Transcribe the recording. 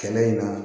Kɛlɛ in na